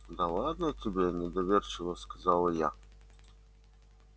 да ладно тебе недоверчиво сказала я